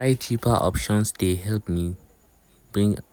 to dey try cheaper options dey help me bring new ideas without risking my money.